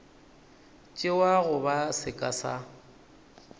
tšewa go ba seka sa